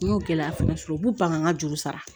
N y'o gɛlɛya fana sɔrɔ u b'u ban ka n ka juru sara